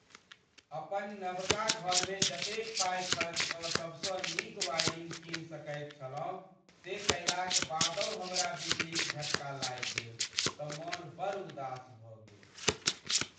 अपन नबका घरमे जतेक पाइ खर्च कऽ सबसँ नीक वायरिंग कीनि सकैत छलहुँ से कयलाक बादहु हमरा बिजलीक झटका लागि गेल तँ मन बड़ उदास भऽ गेल।